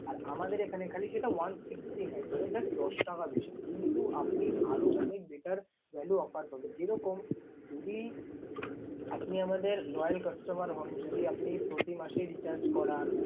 আর আমাদের এখানে খালি সেটা one sixty nine । মানে just দশ টাকা বেশি কিন্তু আপনি আরও অনেক better value offer পাবেন। যেরকম যদি আপনি আমাদের loyal customer হন, যদি আপনি প্রতি মাসে recharge করান